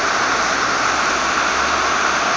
wa matsibolo a se a